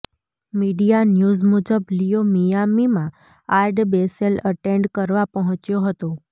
media news મુજબ Leo મિયામીમાં Art Basel attend કરવા પહોંચ્યો હતો